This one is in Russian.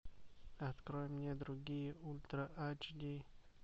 открой мне другие ультра айч ди